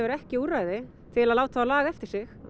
ekki úrræði til að láta þá laga eftir sig